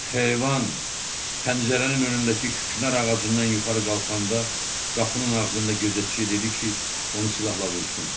Heyvan pəncərənin önündəki küknar ağacından yuxarı qalxanda, qapının ağzında gözətçi dedi ki, onu silahla vursun.